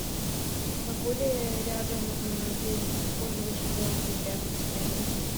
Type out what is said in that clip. могу ли я рядом где нибудь использовать шезлонги рядом с отелем